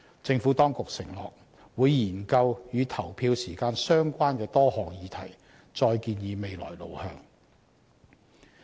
政府當局承諾會研究與投票時間相關的多項議題，再建議未來路向。